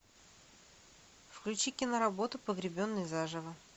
включи киноработу погребенный заживо